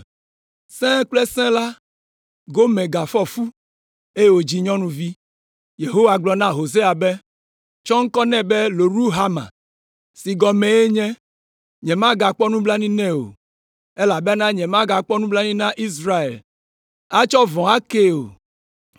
Sẽe kple sẽe la, Gomer gafɔ fu, eye wòdzi nyɔnuvi. Yehowa gblɔ na Hosea be, “Tsɔ ŋkɔ nɛ be Loruhama, si gɔmee nye, ‘Nyemagakpɔ nublanui nɛ o,’ elabena nyemagakpɔ nublanui na Israel, atsɔ vɔ̃ akee o,